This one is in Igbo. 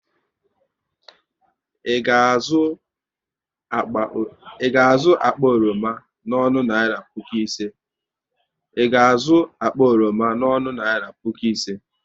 Ị ga azụ akpa oroma n'ọnụ naira puku ise?